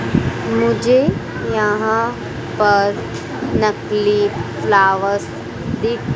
मुझे यहां पर नकली फ्लावर्स दिख--